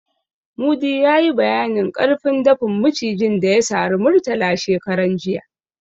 Mudi ya yi bayanin ƙarfin dafin Macijin da ya sari Murtala shekaran jiya.